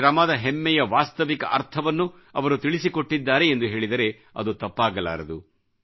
ಶ್ರಮದ ಹೆಮ್ಮೆಯ ವಾಸ್ತವಿಕ ಅರ್ಥವನ್ನು ಅವರು ತಿಳಿಸಿಕೊಟ್ಟಿದ್ದಾರೆ ಎಂದು ಹೇಳಿದರೆ ಅದು ತಪ್ಪಾಗಲಾರದು